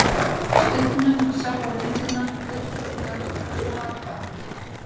Stubbnum, sjálfa myndina, upptökurnar og svo var bara